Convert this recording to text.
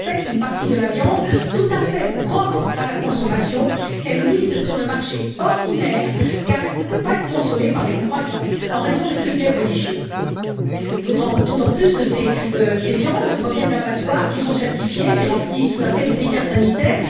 Je rappelle qu'une partie de la viande tout à fait propre à la consommation est mise sur le marché ordinaire car elle ne peut pas être consommée par les croyants en raison de critères religieux, d'autant plus que ces viandes proviennent d'abattoirs qui sont certifiés, qui remplissent tout à fait les critères sanitaires.